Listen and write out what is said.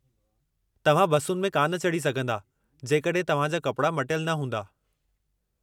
तव्हां बसुनि में कान चढ़ी सघिन्दा जेकड॒हिं तव्हां जा कपड़ा मटियलु न हूंदा।